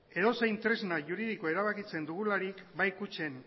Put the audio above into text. edozein tresna juridiko erabakitzen dugularik bai kutxen